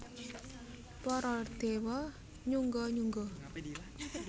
Para déwa nyungga nyungga